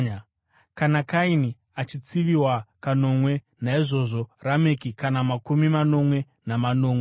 Kana Kaini achitsiviwa kanomwe, naizvozvo Rameki kana makumi manomwe namanomwe.”